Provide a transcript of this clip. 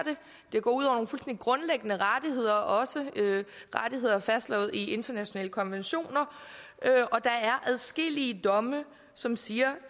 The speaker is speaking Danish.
gå ud over nogle grundlæggende rettigheder også rettigheder fastslået i internationale konventioner og der er adskillige domme som siger